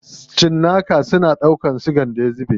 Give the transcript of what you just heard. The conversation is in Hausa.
Cinnakun suna ɗaukan sigan da ya zube.